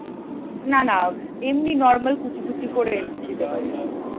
না না এমনি normal কুচি কুচি করে দিতে পারিস।